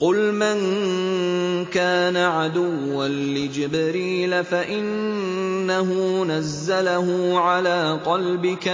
قُلْ مَن كَانَ عَدُوًّا لِّجِبْرِيلَ فَإِنَّهُ نَزَّلَهُ عَلَىٰ قَلْبِكَ